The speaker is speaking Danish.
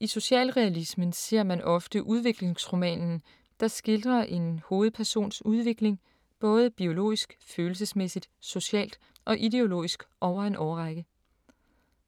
I socialrealismen ser man ofte udviklingsromanen, der skildrer en hovedpersons udvikling både biologisk, følelsesmæssigt, socialt og ideologisk over en årrække.